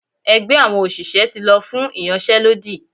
ẹgbẹ àwọn òṣìṣẹ́ ti lọ fún iyánsé lódí